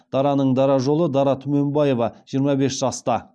дараның дара жолы дара түменбаева жиырма бес жаста